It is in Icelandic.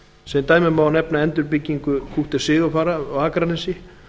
sem dæmi má nefna endurbyggingu kútter sigurfara á akranesi